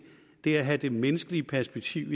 er at have det menneskelige perspektiv